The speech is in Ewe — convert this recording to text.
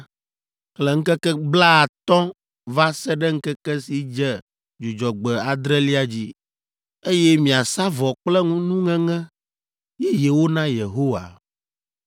Xlẽ ŋkeke blaatɔ̃ va se ɖe ŋkeke si dze Dzudzɔgbe adrelia dzi, eye miasa vɔ kple nuŋeŋe yeyewo na Yehowa.